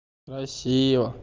красиво